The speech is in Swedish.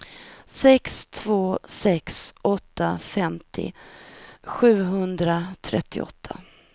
sex två sex åtta femtio sjuhundratrettioåtta